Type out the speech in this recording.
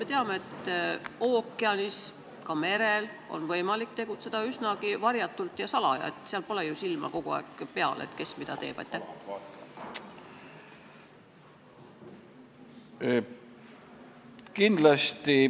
Me teame, et ookeanis, ka merel on võimalik tegutseda üsna varjatult ja salaja, seal pole ju võimalik kogu aeg silma peal hoida ega näha, kes mida teeb.